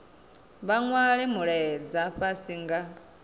vha nwale mulaedza fhasi nga